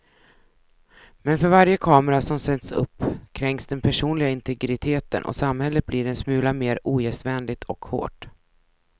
Men för varje kamera som sätts upp kränks den personliga integriteten och samhället blir en smula mer ogästvänligt och hårt.